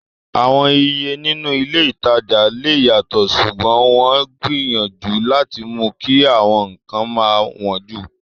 Àwọn Iye nínú ilé ìtajà lè yàtọ̀, ṣùgbọ́n wọ́n ń gbìyànjú láti mú kí àwọn nǹkan má wọn jù